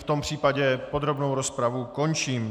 V tom případě podrobnou rozpravu končím.